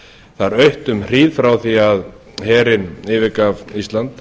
þar autt um hríð frá því herinn yfirgaf ísland